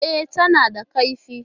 E, tana da kaifi.